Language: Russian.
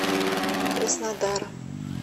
краснодара